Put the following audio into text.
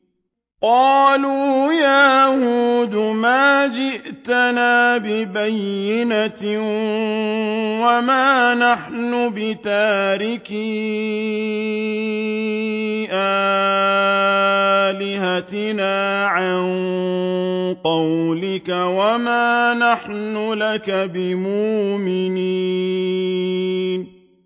قَالُوا يَا هُودُ مَا جِئْتَنَا بِبَيِّنَةٍ وَمَا نَحْنُ بِتَارِكِي آلِهَتِنَا عَن قَوْلِكَ وَمَا نَحْنُ لَكَ بِمُؤْمِنِينَ